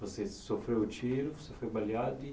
Você sofreu o tiro, você foi baleado e.